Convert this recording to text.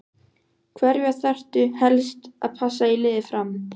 Hverja þarftu helst að passa í liði Fram?